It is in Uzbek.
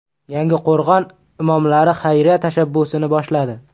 Yangiqo‘rg‘on imomlari xayriya tashabbusini boshladi.